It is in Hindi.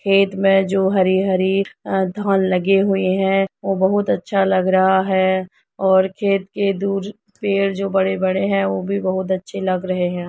खेत में जो हरी हरी अं धान लगे हुए हैं वो बहुत अच्छा लग रहा है और खेत के दूर पेड़ जो बड़े बड़े हैं वो भी बहुत अच्छे लग रहे हैं।